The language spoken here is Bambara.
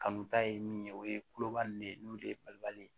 Kanu ta ye min ye o ye kulobali ne ye n'o de ye balibali ye